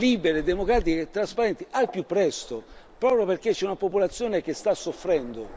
libere, democratiche e trasparenti al più presto, proprio perché c'è una popolazione che sta soffrendo.